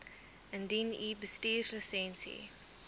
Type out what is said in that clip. indien u bestuurslisensie